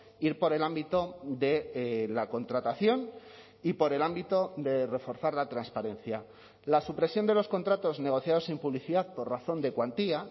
ir por el ámbito de la contratación y por el ámbito de reforzar la transparencia la supresión de los contratos negociados sin publicidad por razón de cuantía